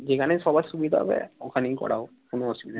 যেখানে সবার সুবিধা হবে ওখানেই করাও কোন অসুবিধা নেই